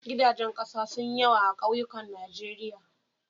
Gidajen ƙasa sun yi yawa a kauyukan Najeriya.